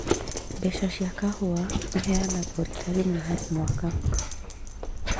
Mbeca cia kahũa iheanagwo rita rĩmwe harĩ kwa mwaka